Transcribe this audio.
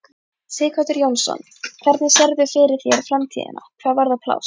Sighvatur Jónsson: Hvernig sérðu fyrir þér framtíðina hvað varðar pláss?